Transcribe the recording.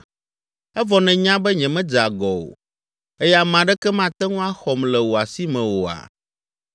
evɔ nènya be nyemedze agɔ o eye ame aɖeke mate ŋu axɔm le wò asi me oa?